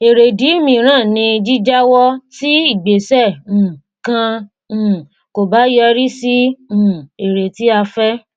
èrèdí míìrán ni jíjàwọ tí igbésẹ um kàn um kò bá yọrí sí um èrè tí a fẹ